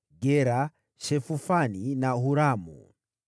Gera, Shefufani na Huramu.